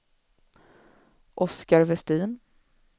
Oscar Vestin